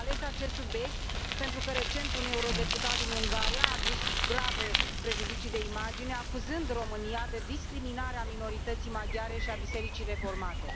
Am ales acest subiect pentru că, recent, un euro deputat din Ungaria a adus grave prejudicii de imagine, acuzând România de discriminare a minorității maghiare și a Bisericii Reformate.